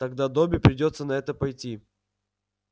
тогда добби придётся на это пойти